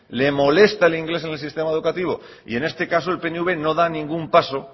le molesta el inglés en el sistema educativo y en este caso el pnv no da ningún paso